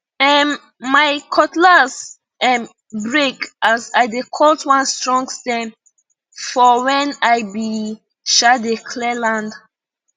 um my cutlass um break as i dey cut one strong stem for when i be um dey clear land